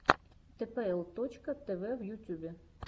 тпл точка тв в ютюбе